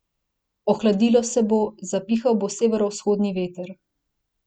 Ohladilo se bo, zapihal bo severovzhodni veter.